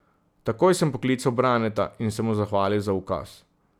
Takoj sem poklical Braneta in se mu zahvalil za ukaz.